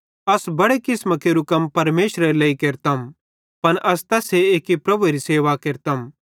अस बड़े किसमां केरू कम परमेशरेरे लेइ केरतम पन अस तैस्से एक्की प्रभुएरी सेवा केरतम